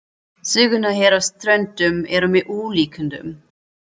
Sögurnar hér á Ströndum eru með ólíkindum.